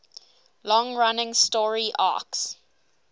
long running story arcs